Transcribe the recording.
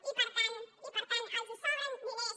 i per tant i per tant els sobren diners